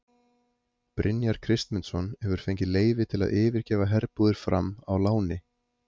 Brynjar Kristmundsson hefur fengið leyfi til að yfirgefa herbúðir Fram á láni.